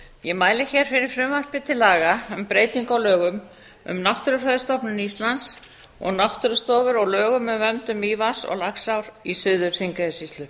ég mæli hér fyrir frumvarpi til laga um breytingu á lögum um náttúrufræðistofnun íslands og náttúrustofur og lög um verndum mývatns og laxár í suður þingeyjarsýslu